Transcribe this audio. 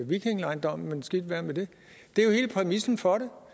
vikingdommen men skidt være med det det er jo hele præmissen for